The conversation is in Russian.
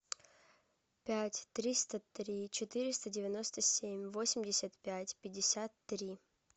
пять триста три четыреста девяносто семь восемьдесят пять пятьдесят три